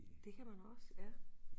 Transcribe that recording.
Det kan man også ja